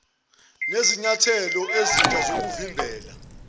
nezinyathelo ezintsha zokuvimbela